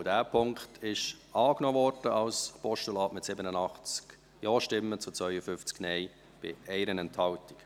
Auch dieser Punkt wurde als Postulat angenommen, mit 87 Ja- zu 52 Nein-Stimmen bei 1 Enthaltung.